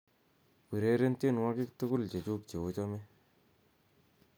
ureren tienwogik tugul chechug cheochome